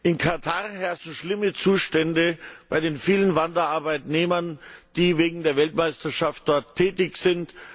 In Katar herrschen schlimme Zustände bei den vielen Wanderarbeitnehmern, die wegen der Weltmeisterschaft dort tätig sind.